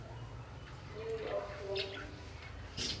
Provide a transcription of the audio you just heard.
new york yankees